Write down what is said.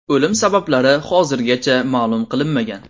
O‘lim sabablari hozirgacha ma’lum qilinmagan.